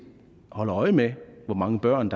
holder øje med hvor mange børn